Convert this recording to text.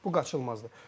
Bu qaçılmazdır.